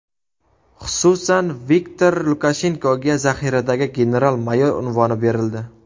Xususan, Viktor Lukashenkoga zaxiradagi general-mayor unvoni berildi.